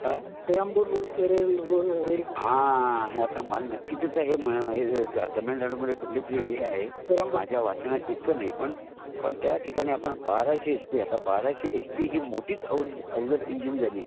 हा आ मला नक्की ते माहीत नही तामिळनाडू मध्ये कुठली तरी हे आहे माझ्या वाचनात इतकं नही पण त्या ठिकाणी बाराशे एच पी बाराशे एच पी ही आता मोठीच थोडी अवजड इंजिन झाली